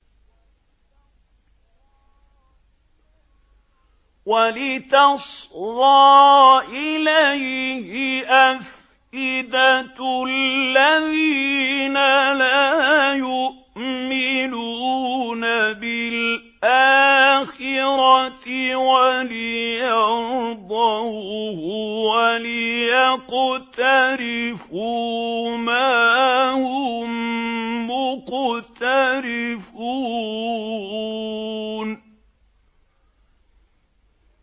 وَلِتَصْغَىٰ إِلَيْهِ أَفْئِدَةُ الَّذِينَ لَا يُؤْمِنُونَ بِالْآخِرَةِ وَلِيَرْضَوْهُ وَلِيَقْتَرِفُوا مَا هُم مُّقْتَرِفُونَ